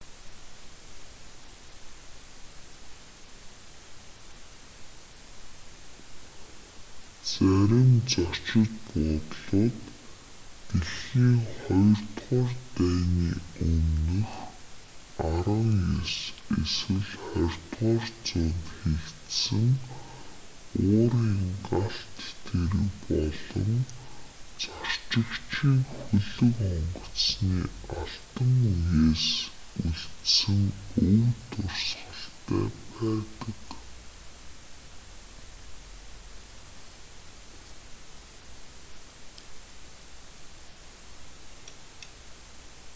зарим зочид буудлууд дэлхийн хоёрдугаар дайны өмнөх 19 эсвэл 20-р зуунд хийгдсэн уурын галт тэрэг болон зорчигчийн хөлөг онгоцны алтан үеэс үлдсэн өв дурсгалтай байдаг